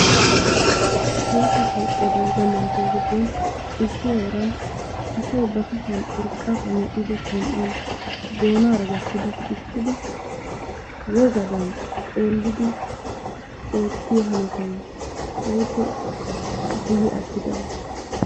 Tohossa dalgga manttiyaa giddon issi heeran asay ba kushshiyaan urqqaappe mel"idi kon"aa doonnaara gattidi siikkidi wogadan xeelliyoo hanottay keehippe guyye attidaba.